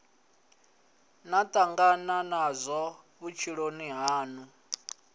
na tangana nazwo vhutshiloni hanu